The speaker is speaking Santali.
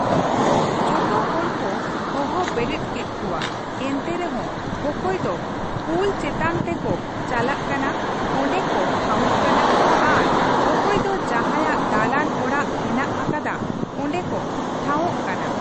ᱛᱚ ᱡᱚᱛᱚ ᱦᱚᱲᱠᱚ ᱦᱚᱦᱚ ᱵᱮᱨᱮᱫ ᱠᱮᱫ ᱠᱚᱣᱟ ᱮᱱᱛᱮ ᱨᱮᱦᱚᱸ ᱚᱠᱚᱭ ᱫᱚ ᱯᱩᱞ ᱪᱮᱛᱟᱱ ᱛᱮᱠᱚ ᱪᱟᱞᱟᱜ ᱠᱟᱱᱟ ᱚᱸᱰᱮ ᱠᱚ ᱴᱷᱟᱶᱚᱜ ᱠᱟᱱᱟ ᱟᱨ ᱚᱠᱚᱭ ᱫᱚ ᱡᱟᱦᱟᱸᱭᱟᱜ ᱫᱟᱞᱟᱱ ᱚᱲᱟᱜ ᱦᱮᱱᱟᱜ ᱟᱠᱟᱫᱟ ᱚᱸᱰᱮ ᱠᱚ ᱴᱷᱟᱶᱚᱜ ᱠᱟᱱᱟ ᱾